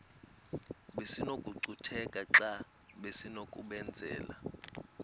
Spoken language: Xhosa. besinokucutheka xa besinokubenzela